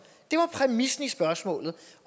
det var præmissen i spørgsmålet